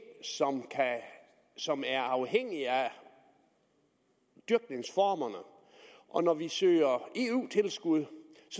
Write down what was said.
som er afhængige af dyrkningsformerne og når vi søger eu tilskud